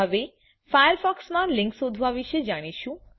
હવે ફાયરફોક્સમાં લિંક્સ શોધવા વિશે જાણીશું